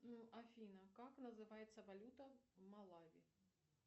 афина как называется валюта малави